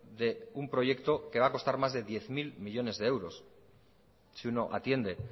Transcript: de un proyecto que va a costar más de diez mil millónes de euros si uno atiende